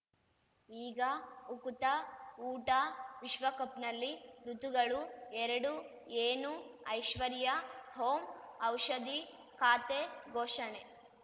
ಈಗ ಉಕುತ ಊಟ ವಿಶ್ವಕಪ್‌ನಲ್ಲಿ ಋತುಗಳು ಎರಡು ಏನು ಐಶ್ವರ್ಯಾ ಓಂ ಔಷಧಿ ಖಾತೆ ಘೋಷಣೆ